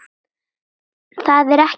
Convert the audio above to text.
Það er mikið í gangi.